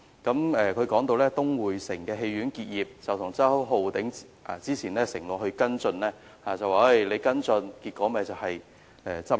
他提到東薈城戲院結業的情況，指周浩鼎議員早前承諾跟進，但跟進的結果就是戲院結業。